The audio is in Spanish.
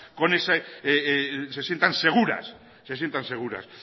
seguras